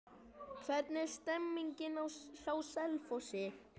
Hvernig er stemningin hjá Selfossi?